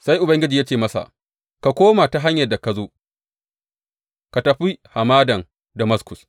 Sai Ubangiji ya ce masa, Ka koma ta hanyar da ka zo, ka tafi Hamadan Damaskus.